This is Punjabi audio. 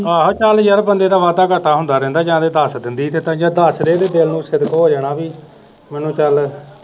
ਆਹੋ ਚਲ ਯਾਰ ਬੰਦੇ ਦਾ ਵਾਧਾ ਘਾਟਾ ਹੁੰਦਾ ਰਹਿੰਦਾ ਜਾ ਤੇ ਦਸ ਦਿੰਦੀ ਤੇ ਜਾ ਤੇ ਦਸਦੇ ਦਿਲ ਨ ਸਿਦਕ ਹੋ ਜਾਣਾ ਬੀ ਮੈਨੂੰ ਚਲ